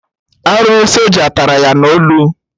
Arụrụ soja tara ya na olu